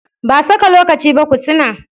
Ba saka lokaci ba kutunna